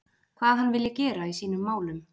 Hvað hann vilji gera í sínum málum?